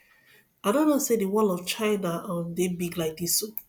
i no know say the wall of china um dey big like dis oo